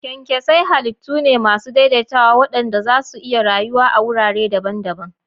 Kyankyasai halittu ne masu daidaitawa waɗanda za su iya rayuwa a wurare daban-daban.